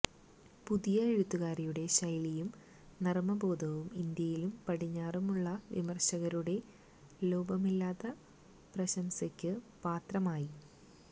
പുതിയ എഴുത്തുകാരിയുടെ ശൈലിയും നര്മബോധവും ഇന്ത്യയിലും പടിഞ്ഞാറുമുള്ള വിമര്ശകരുടെ ലോഭമില്ലാത്ത പ്രശംസയ്ക്ക് പാത്രമായി